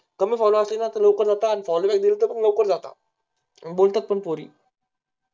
कमी follow असतील ना तरी लवकर जातात आणि follow आले तरी लवकर जातात, बोलतात पण पोरी